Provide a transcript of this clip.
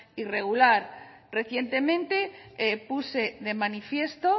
irregular recientemente puse de manifiesto